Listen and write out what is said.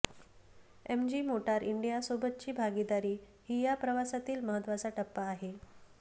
MG motor इंडियासोबतची भागीदारी ही या प्रवासातील महत्त्वाचा टप्पा आहे